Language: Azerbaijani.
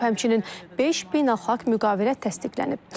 Həmçinin beş beynəlxalq müqavilə təsdiqlənib.